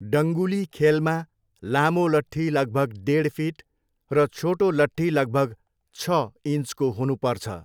डङ्गुली खेलमा लामो लठ्ठी लगभग डेढ फिट र छोटो लट्ठी लगभग छ इन्चको हुनुपर्छ।